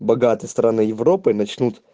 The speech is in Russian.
богатые страны европы начнут